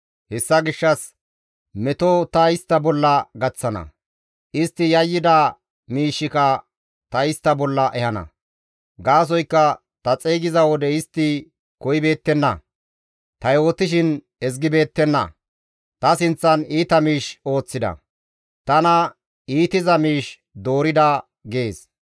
Hessa gishshas meto ta istta bolla gaththana; istti yayyida miishshika ta istta bolla ehana; gaasoykka ta xeygiza wode istti koyibeettenna; ta yootishin istti ezgibeettenna; ta sinththan iita miish ooththida; tana iitiza miish doorida» gees.